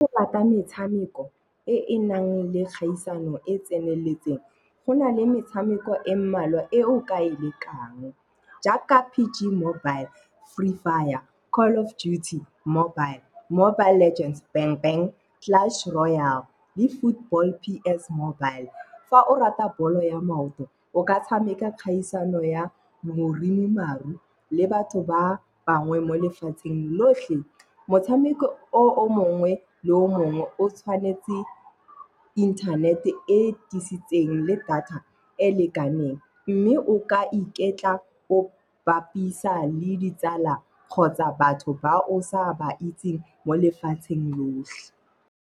Ke rata metshameko e e nang le kgaisano e tseneletseng, go na le metshameko e mmalwa e o ka e lekang. Jaaka PG mobile, Free Fire, Call of Duty Mobile, Mobile Legends, Bang Bang, Clash Royal le Foot Ball PS Mobile. Fa o rata ball o ya maoto o ka tshameka kgaisano ya moremi maru le batho ba bangwe mo lefatsheng lotlhe. Motshameko o mongwe le o mongwe o tshwanetse internet e tlisitseng le data e e lekaneng, mme o ka iketla o bapisa le ditsala kgotsa batho ba o sa ba itseng mo lefatsheng lotlhe.